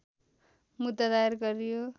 मुद्दा दायर गरियो